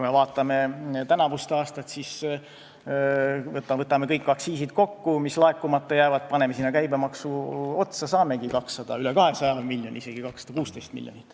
Vaatame tänavust aastat, võtame kokku kõik aktsiisid, mis laekumata jäävad, paneme sinna käibemaksu otsa, siis saamegi 200 miljonit või üle 200 miljoni, 216 miljonit.